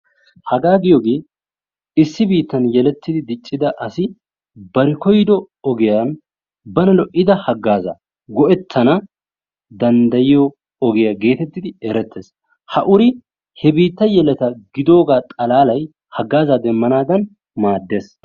Hagaa giyoogee issi biittan yelettidi diiccida asi bari kooyyido ogiyaan bana lo"ida hagazzaa go'ettanawu danddayiyoo ogiyaa gettettidi erettees. Ha uri he biittaa yelleta gidoogaa xalalay hagazaa demmanaadan maaddees.